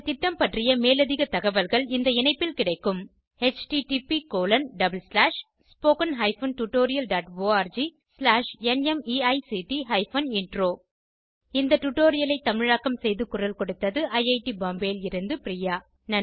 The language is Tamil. இந்த திட்டம் பற்றிய மேலதிக தகவல்கள் இந்த இணைப்பில் கிடைக்கும் httpspoken tutorialorgNMEICT Intro இத்துடன் இந்த டுடோரியல் முடிகிறது இந்த டுடோரியலை தமிழாக்கம் செய்து குரல் கொடுத்தது ஐஐடி பாம்பேவில் இருந்து பிரியா